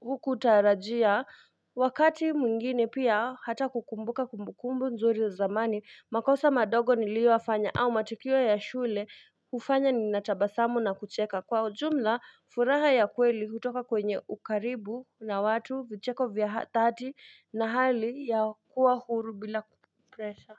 hukutarajia Wakati mwingine pia hata kukumbuka kumbukumbu nzuri za zamani makosa madogo nilioyafanya au matikio ya shule hufanya ni natabasamu na kucheka Kwa ujumla furaha ya kweli hutoka kwenye ukaribu na watu vicheko vya hatati na hali ya kuwa huru bila kupresha.